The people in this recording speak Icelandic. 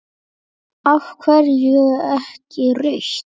Af hverju ekki rautt?